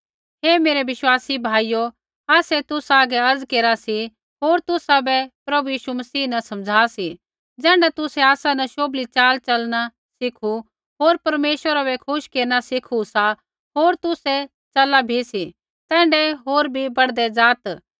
हे मेरै विश्वासी भाइयो आसै तुसा हागै अर्ज़ केरा सी होर तुसाबै प्रभु यीशु मसीह न समझ़ा सी ज़ैण्ढा तुसै आसा न शोभली च़ाल च़लणा सीखू होर परमेश्वरा बै खुश केरना सीखू सा होर तुसै च़ला भी सी तैण्ढाऐ होर बी बढ़दै ज़ात्